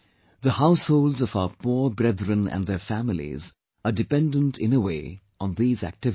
The households of our poor brethren and their families are dependent in a way on these activities